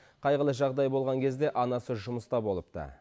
қайғылы жағдай болған кезде анасы жұмыста болыпты